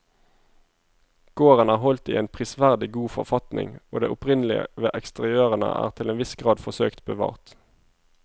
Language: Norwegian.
Gården er holdt i en prisverdig god forfatning og det opprinnelige ved eksteriørene er til en viss grad forsøkt bevart.